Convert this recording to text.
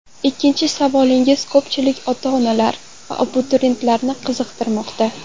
Ikkinchi savolingiz ko‘pchilik ota-onalar va abituriyentlarni qiziqtirmoqda.